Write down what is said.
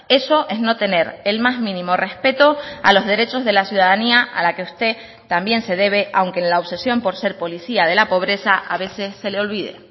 eso es no tener el más mínimo respeto a los derechos de la ciudadanía a la que usted también se debe aunque en la obsesión por ser policía de la pobreza a veces se le olvide